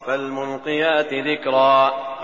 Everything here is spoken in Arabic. فَالْمُلْقِيَاتِ ذِكْرًا